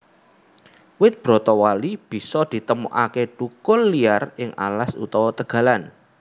Wit bratawali bisa ditemokake thukul liar ing alas utawa tegalan